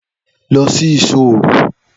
Lọ sí ìṣò òru!